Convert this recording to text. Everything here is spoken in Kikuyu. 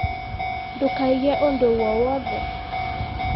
Ndũkaige ũndũ wowothe.